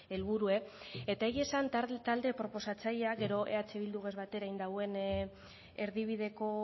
helburua eta egia esan talde proposatzailea gero eh bildurekin batera egin duen erdibideko